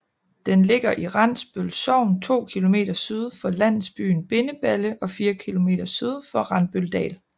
Den ligger i Randbøl Sogn 2 km syd for landsbyen Bindeballe og 4 km syd for Randbøldal